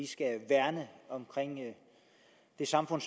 skal værne om det samfund